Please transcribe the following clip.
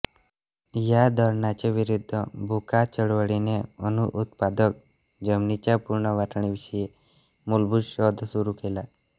या धोरणाच्या विरुद्ध भू का चळवळीने अनुत्पादक जमिनींच्या पुनर्वाटणीविषयी मुलभूत शोध सुरू केला